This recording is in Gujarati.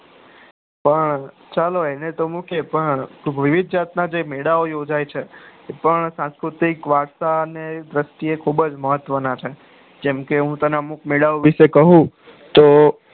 પણ ચાલો એને તો મૂકીએ પણ મેળા ઓ ઉજાય છે પણ સંસ્કુતિ વાતા દ્રષ્ટિ એ ને ખુબ જ મહત્વ ના છે જેમકે હું તને અમુક મેળા વિશે ક્યુ